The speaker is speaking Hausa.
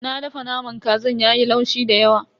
Na dafa naman kazan yayi laushi dayawa.